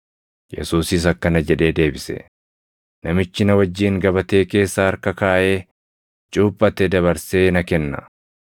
Yesuusis akkana jedhee deebise; “Namichi na wajjin gabatee keessa harka kaaʼee cuuphate dabarsee na kenna.